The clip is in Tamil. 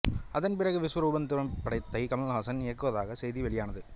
அதன் பிறகு விஸ்வரூபம் திரைப்படத்தை கமல்ஹாசன் இயக்குவதாக செய்திகள் வெளியானது